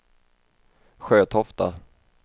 Sjötofta